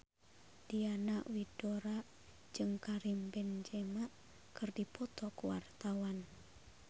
Diana Widoera jeung Karim Benzema keur dipoto ku wartawan